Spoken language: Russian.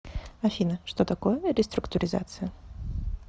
афина что такое реструктуризация